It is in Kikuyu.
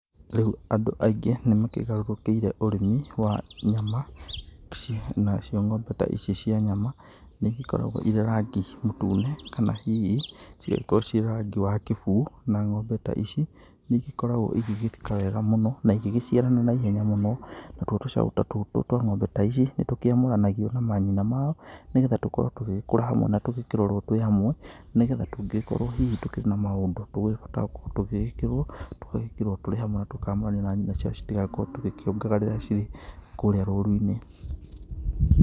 Rĩu andũ aingĩ nĩ makĩgarũrũkĩire ũrĩmi wa nyama nacio ng'ombe ta ici cia nyama nĩ igĩkoragwo irĩ rangi mũtune kana hihi cigĩkorwo ciĩrangi wa kĩbuu. Na ng'ombe ta ici nĩ igĩkoragwo igĩgĩka wega mũno na igĩciarana na ihenya mũno. Natuo tũcaũ ta tũtũ twa ng'ombe ta ici, nĩ tũkĩamũranagio na manyina mao nĩ getha tũkorwo tũgĩgĩkũra twĩ hamwe na tũgĩkĩrorwo twĩ hamwe. Nĩ getha tũngĩgĩkorwo hihi tũkĩrĩ na maũndũ tũrabatara gũkorwo tũgĩgĩkĩrwo, tũgagĩkĩrwo tũrĩ hamwe na tũkamũranio na nyina ciao citigakorwo tũgĩkĩongaga rĩrĩa cirĩ kũrĩa rũru-inĩ.